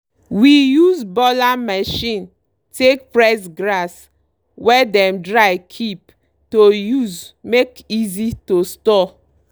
we use baler machine take press grass wey dem dry keep to use make easy to store.